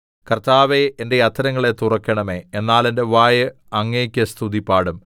കർത്താവേ എന്റെ അധരങ്ങളെ തുറക്കണമേ എന്നാൽ എന്റെ വായ് അങ്ങേക്ക് സ്തുതിപാടും